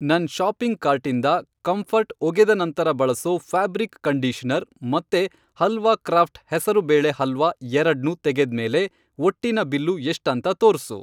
ನನ್ ಷಾಪಿಂಗ್ ಕಾರ್ಟಿಂದ ಕಂಫರ್ಟ್ ಒಗೆದ ನಂತರ ಬಳಸೋ ಫ಼್ಯಾಬ್ರಿಕ್ ಕಂಡೀಷನರ್ ಮತ್ತೆ ಹಲ್ವಾ ಕ್ರಾಫ಼್ಟ್ ಹೆಸರು ಬೇಳೆ ಹಲ್ವಾ ಎರಡ್ನೂ ತೆಗೆದ್ಮೇಲೆ ಒಟ್ಟಿನ ಬಿಲ್ಲು ಎಷ್ಟಂತ ತೋರ್ಸು.